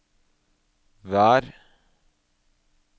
vær